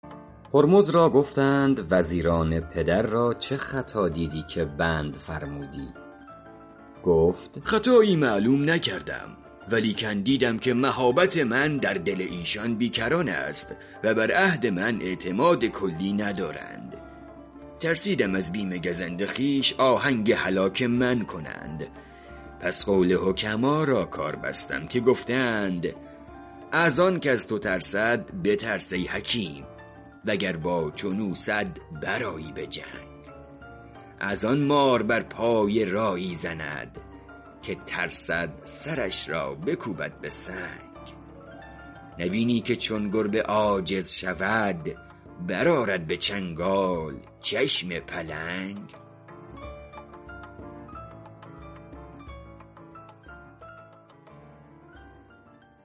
هرمز را گفتند وزیران پدر را چه خطا دیدی که بند فرمودی گفت خطایی معلوم نکردم ولیکن دیدم که مهابت من در دل ایشان بی کران است و بر عهد من اعتماد کلی ندارند ترسیدم از بیم گزند خویش آهنگ هلاک من کنند پس قول حکما را کار بستم که گفته اند از آن کز تو ترسد بترس ای حکیم وگر با چون او صد برآیی به جنگ از آن مار بر پای راعی زند که ترسد سرش را بکوبد به سنگ نبینی که چون گربه عاجز شود برآرد به چنگال چشم پلنگ